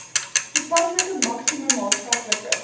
toepaslike maksimum maatskaplike